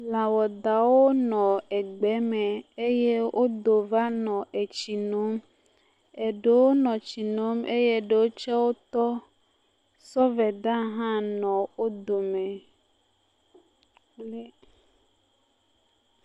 Lãwadawo nɔ egbe me eye wodo va nɔ etsi nom. Eɖewo nɔ etsi nom eye eɖewo tɔ. Sɔveda hã nɔ wo dome. Eeeee,.....